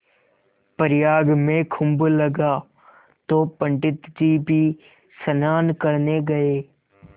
प्रयाग में कुम्भ लगा तो पंडित जी भी स्नान करने गये